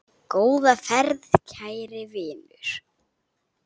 Góða ferð, kæri vinur.